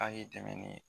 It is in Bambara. A ye dɛmɛ ni ye